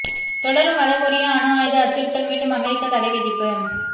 தொடரும் வட கொரியா அணு ஆயுத அச்சுறுத்தல் மீண்டும் அமெரிக்க தடைவிதிப்பு